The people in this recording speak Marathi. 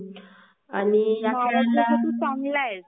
Audio is not clear